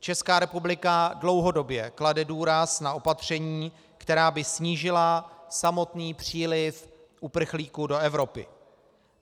Česká republika dlouhodobě klade důraz na opatření, která by snížila samotný příliv uprchlíků do Evropy.